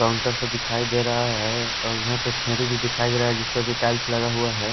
Counter से दिखाई दे रहा है और यहां पर खेरी भी दिखाई दे रहा है जिस पर भी टाइल्स लगा हुआ है।